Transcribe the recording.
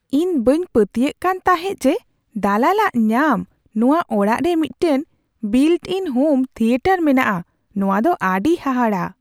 ᱤᱧ ᱵᱟᱹᱧ ᱯᱟᱹᱛᱭᱟᱹᱜ ᱠᱟᱱ ᱛᱟᱦᱮᱸᱫ ᱡᱮ ᱫᱟᱞᱟᱞᱼᱟᱜ ᱧᱟᱢ ᱱᱚᱶᱟ ᱚᱲᱟᱜ ᱨᱮ ᱢᱤᱫᱴᱟᱝ ᱵᱤᱞᱴᱼᱤᱱ ᱦᱳᱢ ᱛᱷᱤᱭᱮᱴᱟᱨ ᱢᱮᱱᱟᱜᱼᱟ ᱾ ᱱᱚᱶᱟ ᱫᱚ ᱟᱹᱰᱤ ᱦᱟᱦᱟᱲᱟ !